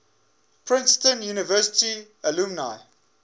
princeton university alumni